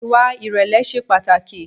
Ìwà ìrẹ̀lẹ̀ ṣe pàtàkì.